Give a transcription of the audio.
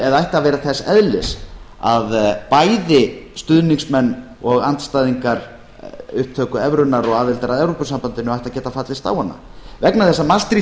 eða ætti að vera þess eðlis að bæði stuðningsmenn og andstæðingar upptöku evrunnar og aðildar að evrópusambandinu ættu að geta fallist á hana vegna þess að maastricht